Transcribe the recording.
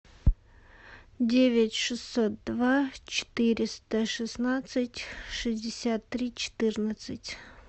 девять шестьсот два четыреста шестнадцать шестьдесят три четырнадцать